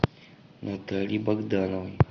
наталье богдановой